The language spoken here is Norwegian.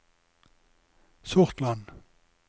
Sortland